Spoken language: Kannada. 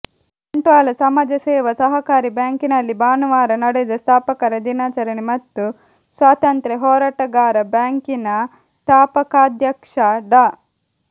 ಬಂಟ್ವಾಳ ಸಮಾಜ ಸೇವಾ ಸಹಕಾರಿ ಬ್ಯಾಂಕಿನಲ್ಲಿ ಭಾನುವಾರ ನಡೆದ ಸ್ಥಾಪಕರ ದಿನಾಚರಣೆ ಮತ್ತು ಸ್ವಾತಂತ್ರ್ಯ ಹೋರಾಟಗಾರ ಬ್ಯಾಂಕಿನ ಸ್ಥಾಪಕಾಧ್ಯಕ್ಷ ಡಾ